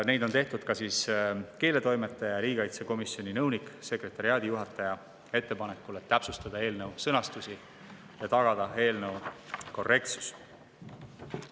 Neid on tehtud ka keeletoimetaja ja riigikaitsekomisjoni nõunik-sekretariaadijuhataja ettepanekul, et täpsustada eelnõu sõnastust ja tagada eelnõu korrektsus.